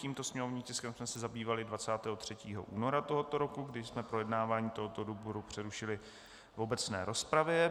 Tímto sněmovním tiskem jsme se zabývali 23. února tohoto roku, kdy jsme projednávání tohoto výboru přerušili v obecné rozpravě.